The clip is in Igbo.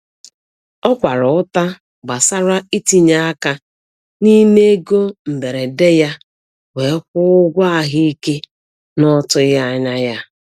O kwara ụta gbasara itinye aka n'ime ego mberede ya wee kwụọ ụgwọ ahụike n'ọtụghị anya ya.